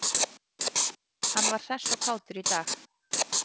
Hann var hress og kátur í dag.